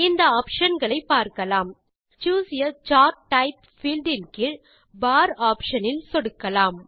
இந்த ஆப்ஷன் களை பார்க்கலாம் choose a chart type field இன் கீழ் பார் ஆப்ஷன் இல் சொடுக்கலாம்